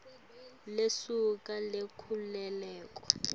lusuku lwenkhululeko